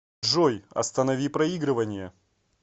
джой останови проигрывание